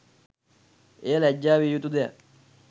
එය ලැජ්ජා වියයුතු දෙයක්